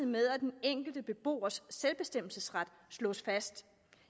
med at den enkelte beboers selvbestemmelsesret slås fast